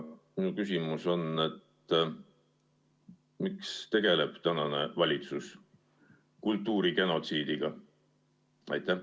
Minu küsimus on: miks tegeleb tänane valitsus kultuurigenotsiidiga?